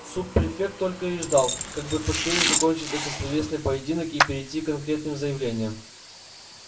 суб-префект только и ждал как бы поскорее закончить этот словесный поединок и перейти к конкретным заявлениям